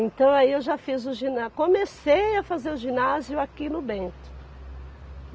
Então aí eu já fiz o giná, comecei a fazer o ginásio aqui no Bento.